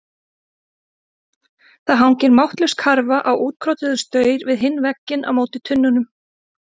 Það hangir máttlaus karfa á útkrotuðum staur við hinn vegginn á móti tunnunum.